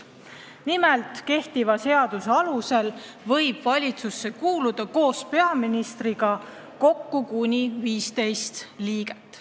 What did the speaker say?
Nimelt, kehtiva seaduse alusel võib valitsusse kuuluda koos peaministriga kuni 15 liiget.